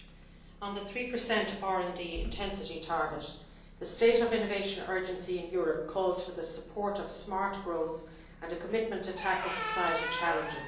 On the 3 RD intensity target the state of innovation urgency in Europe calls for the support of smart growth and a commitment to tackle societal challenges.